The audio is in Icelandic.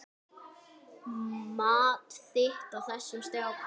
Mat þitt á þessum strákum?